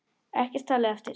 Ekkert talið eftir.